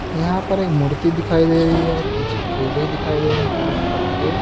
यहां पर एक मूर्ति दिखाई दे रही है पीछे केले दिखाई दे रहे हैं केले के पत्ते--